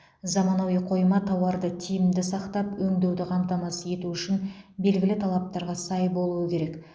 заманауи қойма тауарды тиімді сақтап өңдеуді қамтамасыз ету үшін белгілі талаптарға сай болуы керек